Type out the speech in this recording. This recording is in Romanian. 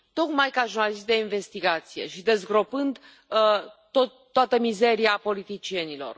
Tocmai ca jurnalist de investigație și dezgropând toată mizeria politicienilor.